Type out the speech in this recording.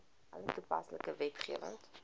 alle toepaslike wetgewing